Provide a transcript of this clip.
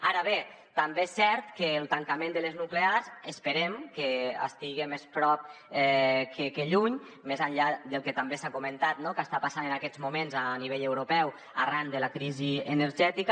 ara bé també és cert que el tancament de les nuclears esperem que estigui més a prop que lluny més enllà del que també s’ha comentat no que està passant en aquests moments a nivell europeu arran de la crisi energètica